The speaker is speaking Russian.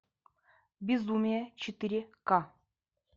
безумие четыре к